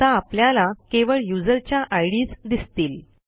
आता आपल्याला केवळ युजरच्या आयडीएस दिसतील